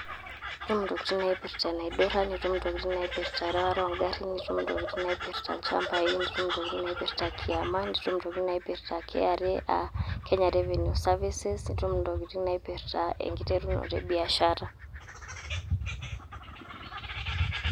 Itum intokitin naipirta enaidurra, nitum intokitin naipirta erewata ogarrin, nitum intokitin naipirta ilchambai, nitum intokitin naipirta kiama, nitum intokitin naipirta kra, ah kenya revenu services ,nitum intokitin naipirta enkiterunoto ebiashara.